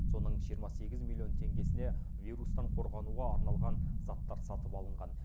соның жиырма сегіз миллион теңгесіне вирустан қорғануға арналған заттар сатып алынған